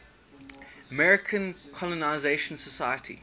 american colonization society